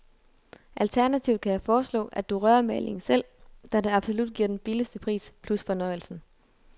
Alternativt kan jeg foreslå, at du rører malingen selv, da det absolut giver den billigste pris, plus fornøjelsen.